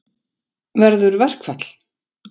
Verður verkfall?